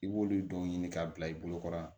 I b'olu dɔw ɲini k'a bila i bolokɔrɔ